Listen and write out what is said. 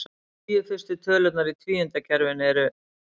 Tíu fyrstu tölurnar í tvíundakerfinu eru: